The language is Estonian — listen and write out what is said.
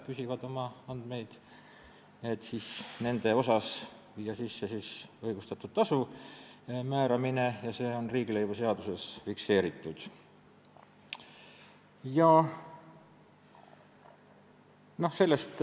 Jüri Adamsi küsimuse peale vastati, et ka Eestis pidi olema paarkümmend inimest, kes tõesti peaaegu et iga päev andmeid küsivad.